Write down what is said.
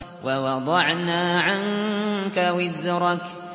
وَوَضَعْنَا عَنكَ وِزْرَكَ